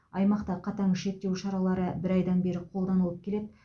аймақта қатаң шектеу шаралары бір айдан бері қолданылып келеді